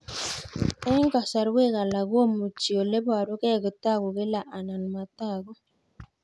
Eng' kasarwek alak komuchi ole parukei kotag'u kila anan matag'u